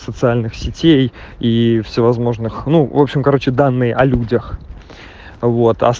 социальных сетей и всевозможных ну в общем короче данные о людях